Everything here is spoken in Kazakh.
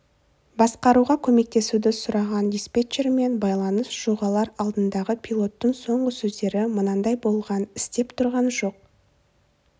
басқаруға көмектесуді сұраған диспетчермен байланыс жоғалар алдындағы пилоттың соңғы сөздері мынандай болған істеп тұрған жоқ